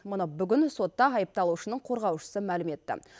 мұны бүгін сотта айыпталушының қорғаушысы мәлім етті